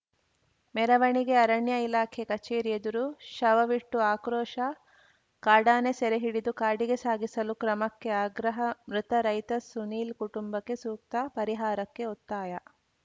ಮೆರವಣಿಗೆ ಅರಣ್ಯ ಇಲಾಖೆ ಕಚೇರಿ ಎದುರು ಶವವಿಟ್ಟು ಆಕ್ರೋಶ ಕಾಡಾನೆ ಸೆರೆ ಹಿಡಿದು ಕಾಡಿಗೆ ಸಾಗಿಸಲು ಕ್ರಮಕ್ಕೆ ಆಗ್ರಹ ಮೃತ ರೈತ ಸುನೀಲ್‌ ಕುಟುಂಬಕ್ಕೆ ಸೂಕ್ತ ಪರಿಹಾರಕ್ಕೆ ಒತ್ತಾಯ